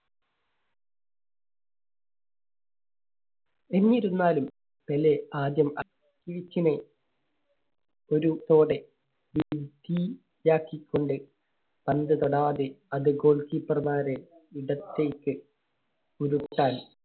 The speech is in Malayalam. എന്നിരുന്നാലും പെലെ ആദ്യം ആക്കികൊണ്ട് പന്ത് തൊടാതെ അത് goal keeper മാരെ ഇടത്തേക്ക് ഉരുട്ടാൻ